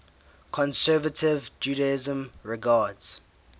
conservative judaism regards